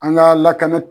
An ka lakana